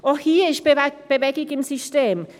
Auch hier ist Bewegung im System: